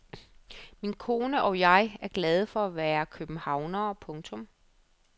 Min kone og jeg er glade for at være københavnere. punktum